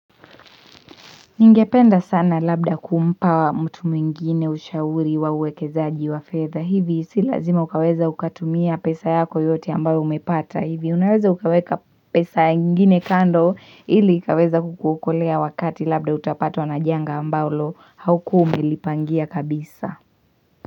Ningependa sana labda kumpa mtu mwingine ushauri wa uwekezaji wa fedha. Hivi si lazima ukaweza ukatumia pesa yako yote ambayo umepata. Hivi unaweza ukaweka pesa ingine kando. Ili ukaweza kukukolea wakati labda utapatwa na janga ambalo haukuwa umelipangia kabisa.